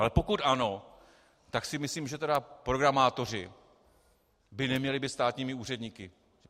Ale pokud ano, tak si myslím, že tedy programátoři by neměli být státními úředníky.